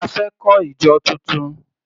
A fẹ́ kọ́ ìjọ tuntun.